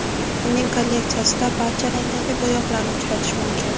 Uning kolleksiyasida barcha rangdagi bo‘yoqlarni uchratish mumkin.